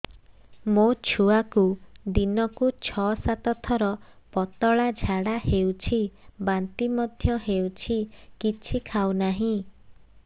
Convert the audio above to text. ମୋ ଛୁଆକୁ ଦିନକୁ ଛ ସାତ ଥର ପତଳା ଝାଡ଼ା ହେଉଛି ବାନ୍ତି ମଧ୍ୟ ହେଉଛି କିଛି ଖାଉ ନାହିଁ